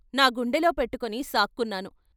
నా గుండెలో పెట్టుకుని సాక్కున్నాను.